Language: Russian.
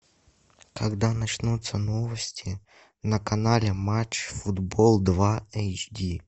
когда начнутся новости на канале матч футбол два эйч ди